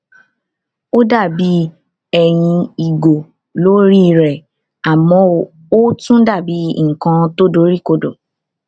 ó dà bí ẹyin ìgò lórí rè àmọ ó tún dà bí nkan tó dori kodo